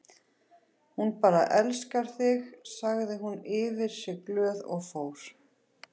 Hún bara elskar þig sagði hún yfir sig glöð og fór.